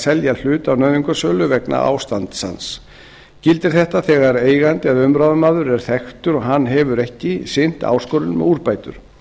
selja hlut á nauðungarsölu vegna ástands hans gildir þetta þegar eigandi eða umráðamaður er þekktur og hann hefur ekki sinnt áskorun um úrbætur